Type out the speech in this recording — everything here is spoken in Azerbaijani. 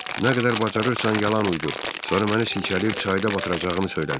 Nə qədər bacarırsan yalan uydur, sonra məni silkələyib çayda batıracağını söylədi.